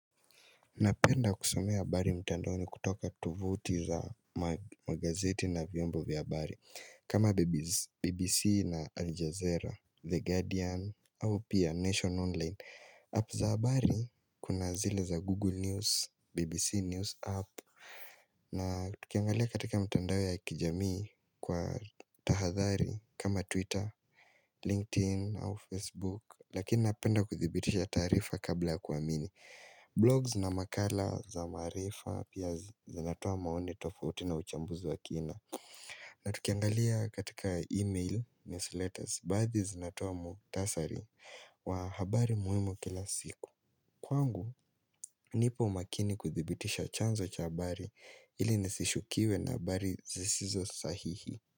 Napenda kusomea habari mtandaoni kutoka tovuti za magazeti na vyombo vya habari kama BBC na Aljazeera, The Guardian, au pia Nation online app za habari kuna zile za Google News, BBC News app na tukiangalia katika mtandao ya kijamii kwa tahadhari kama Twitter, LinkedIn au Facebook Lakini napenda kuthibitisha tarifa kabla ya kuamini Blogs na makala za maarifa pia zinatoa maoni tofauti na uchambuzi wa kina na tukiangalia katika email newsletters Baadhi zinatoa mukhtasari wa habari muhimu kila siku Kwangu nipo makini kuthibitisha chanzo cha habari ili nisishukiwe na habari zisizo sahihi.